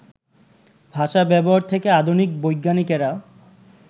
ভাষা-ব্যবহার থেকে আধুনিক বৈজ্ঞানিকেরা